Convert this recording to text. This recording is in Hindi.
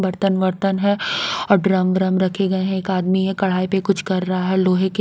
बर्तन बर्तन है और ड्रम वरम रखे गए हैं एक आदमी है कढ़ाई पे कुछ कर रहा है लोहे के --